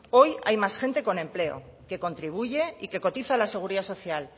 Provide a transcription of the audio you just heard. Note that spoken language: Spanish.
hoy hay más gente con empleo que contribuye y que cotiza a la seguridad social